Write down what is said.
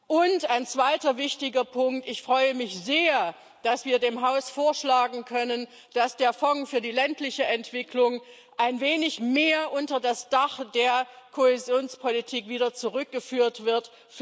Und ein zweiter wichtiger Punkt Ich freue mich sehr, dass wir dem Haus vorschlagen können, dass der Fonds für die ländliche Entwicklung wieder ein wenig mehr unter das Dach der Kohäsionspolitik zurückgeführt wird.